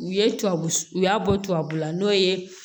U ye tubabu u y'a bɔ tubabula n'o ye